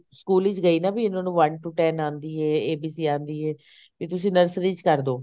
school ਵਿੱਚ ਗਏ ਨਾ ਵੀ ਇਹਨਾ ਨੂੰ one two ten ਆਂਦੀ ਆਈ ABC ਆਂਦੀ ਐ ਫੇਰ ਤੁਸੀਂ nursery ਚ ਕਰਦੋ